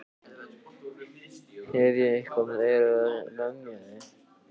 Hef ég eitthvað verið að lemja þig?